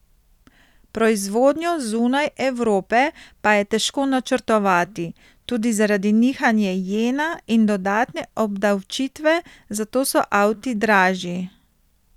Proizvodnjo zunaj Evrope pa je težko načrtovati, tudi zaradi nihanja jena in dodatne obdavčitve, zato so avti dražji.